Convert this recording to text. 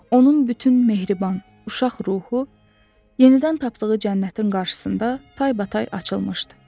Onun bütün mehriban, uşaq ruhu yenidən tapdığı cənnətin qarşısında taybatay açılmışdı.